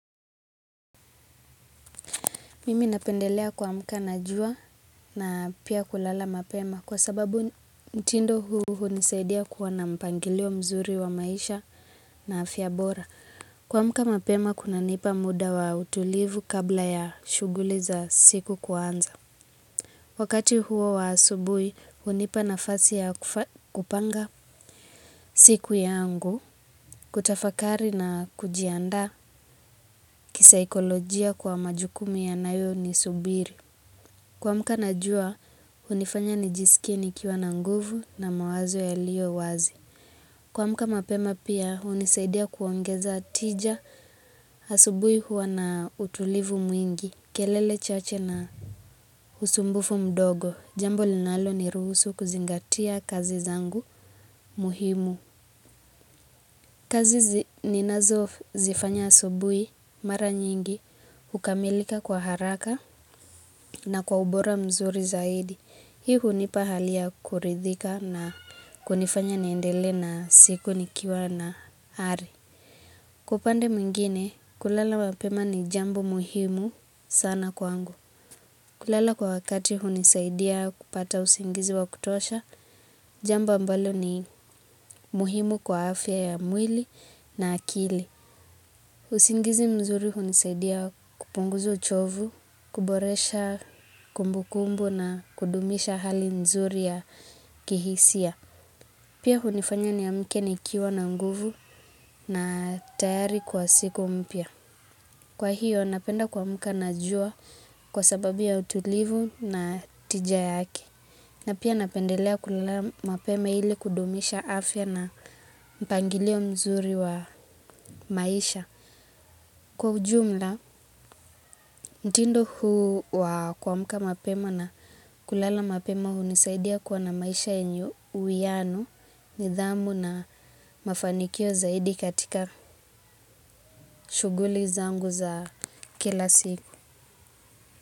Mimi napendelea kuamka na jua na pia kulala mapema kwa sababu mtindo huu hunisaidia kuwa na mpangilio mzuri wa maisha na afya bora. Kuamka mapema kuna nipa muda wa utulivu kabla ya shughuli za siku kuanza. Wakati huo wa asubui hunipa nafasi ya kupanga siku yangu kutafakari na kujianda kisaikolojia kwa majukumu yanayo ni subiri. Kuamka na jua, hunifanya nijisikie nikiwa na nguvu na mawazo yaliyo wazi. Kuamka mapema pia, hunisaidia kuongeza tija asubui huwa na utulivu mwingi, kelele chache na usumbufu mdogo. Jambo linalo ni ruhusu kuzingatia kazi zangu muhimu. Kazi ninazo zifanya asubui, mara nyingi, hukamilika kwa haraka na kwa ubora mzuri zaidi. Hii hunipa hali ya kuridhika na kunifanya niendelee na siku nikiwa na ari. Kwa upande mwingine, kulala mapema ni jambo muhimu sana kwangu. Kulala kwa wakati hunisaidia kupata usingizi wa kutosha, jambo ambalo ni muhimu kwa afya ya mwili na akili. Usingizi mzuri hunisadia kupunguza uchovu, kuboresha kumbukumbu na kudumisha hali mzuri ya kihisia. Pia hunifanya niamke nikiwa na nguvu na tayari kwa siku mpya. Kwa hiyo, napenda kuamka na jua kwa sababu ya utulivu na tija yake. Na pia napendelea kulala mapema ili kudumisha afya na mpangilio mzuri wa maisha. Kwa ujumla, mtindo huu kuamka mapema na kulala mapema hunisaidia kuwa na maisha yenye uianu, nidhamu na mafanikio zaidi katika shuguli zangu za kila siku.